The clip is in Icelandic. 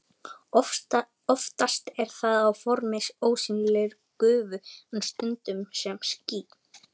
Oftast er það á formi ósýnilegrar gufu en stundum sem ský.